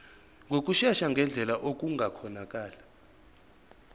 ngokushesha ngendlela okungakhonakala